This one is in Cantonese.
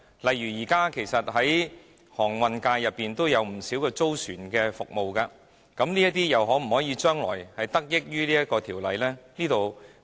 例如現時航運界有不少提供租船服務的公司，他們將來又能否得益於此條例？